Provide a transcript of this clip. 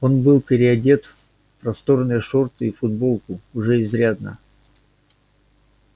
он был переодет в просторные шорты и футболку уже изрядно